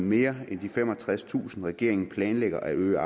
mere end de femogtredstusind regeringen planlægger at øge